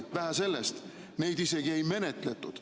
Vähe sellest, neid isegi ei menetletud.